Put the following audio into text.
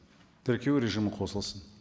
тіркеу режимі қосылсын